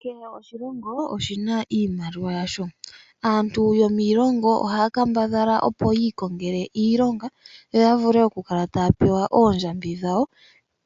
Kehe oshilongo oshina iimaliwa yasho aantu yomiilongo ohaya kambadhala opo yi ikongele iilonga yoya vule okukala taya pewa oondjambi dhawo